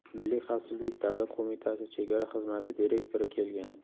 Milliy xavfsizlik davlat qo‘mitasi chegara xizmati direktori kelgan.